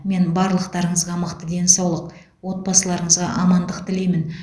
мен барлықтарыңызға мықты денсаулық отбасыларыңызға амандық тілеймін